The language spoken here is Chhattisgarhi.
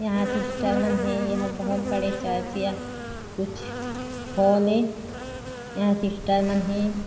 यहाँ सिस्टर मन हे एहा बहुत बड़े चर्च हे कुछ हॉल हे यहाँ सिस्टर मन हे।